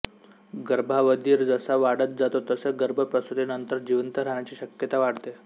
गर्भावधि जसा वाढत जातो तसे गर्भ प्रसूतिनंतर जिवंत राहण्याची शक्यता वाढते